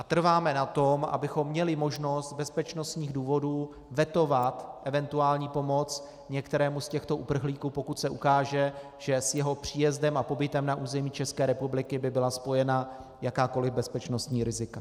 A trváme na tom, abychom měli možnost z bezpečnostních důvodů vetovat eventuální pomoc některému z těchto uprchlíků, pokud se ukáže, že s jeho příjezdem a pobytem na území České republiky by byla spojena jakákoli bezpečnostní rizika.